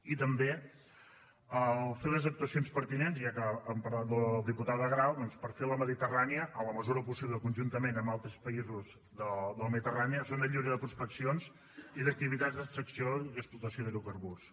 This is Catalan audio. i també fer les actuacions pertinents ja que hem parlat de la diputada grau per fer la mediterrània en la mesura del possible conjuntament amb altres països de la mediterrània zona lliure de prospeccions i d’activitats d’extracció i explotació d’hidrocarburs